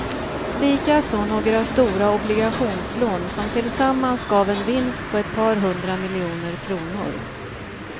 Likaså några stora obligationslån, som tillsammans gav en vinst på ett par hundra miljoner kronor.